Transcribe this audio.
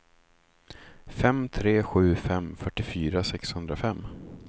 fem tre sju fem fyrtiofyra sexhundrafem